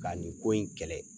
Ka nin ko in kɛlɛ.